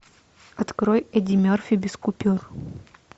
открой эдди мерфи без купюр